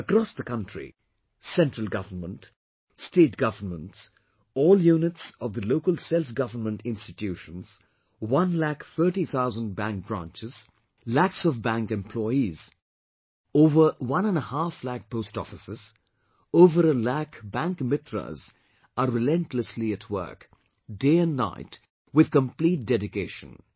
Across the country, central government, state governments, all units of the local self government institutions, one lakh thirty thousand bank branches, lakhs of bank employees, over one and a half lakh post offices, over a lakh BankMitras are relentlessly at work, day and night, with complete dedication